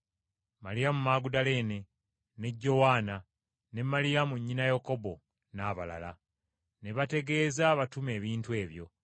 Maliyamu Magudaleene, ne Jowaana, ne Maliyamu nnyina Yakobo, n’abalala. Ne bategeeza abatume ebintu ebyo.